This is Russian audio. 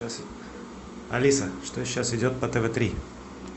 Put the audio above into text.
алиса что сейчас идет по тв три